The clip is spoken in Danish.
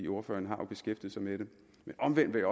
ordføreren har jo beskæftiget sig med det men omvendt vil